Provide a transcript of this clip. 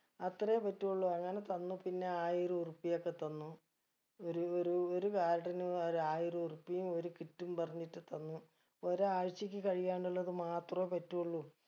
അത്രേ പറ്റോള്ളൂ അങ്ങനെ തന്നു പിന്നെ ആയിര ഉറുപ്യ ഒക്കെ തന്നു ഒരു ഒരു ഒരു ഒരു ആയിര ഉറുപ്യയും ഒരു kit ഉം പറഞ്ഞിട്ട് തന്നു ഒരാഴ്ചക്ക് കഴിയാനുള്ളത് മാത്രൊ പറ്റുള്ളൂ